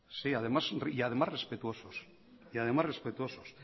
sí y además respetuosos